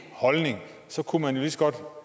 holdning kunne man jo lige så godt